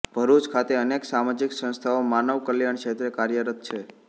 ભરુચ ખાતે અનેક સામાજીક સંસ્થાઓ માનવ કલ્યાણ ક્ષેત્રે કાર્યરત છે